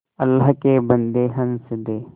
अल्लाह के बन्दे हंस दे